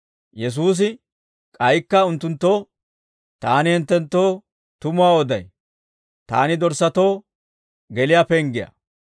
Yesuusi k'aykka unttunttoo, «Taani hinttenttoo tumuwaa oday; taani dorssatoo geliyaa penggiyaa.